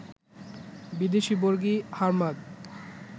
বিদেশি বর্গী, হার্মাদ